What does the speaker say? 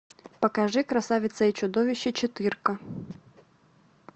покажи красавица и чудовище четырка